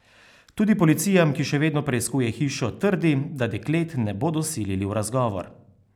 Tudi policija, ki še vedno preiskuje hišo, trdi, da deklet ne bodo silili v razgovor.